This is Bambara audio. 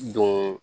Don